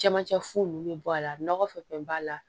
Camancɛ fu ninnu bɛ bɔ a la nɔgɔ fɛn fɛn b'a la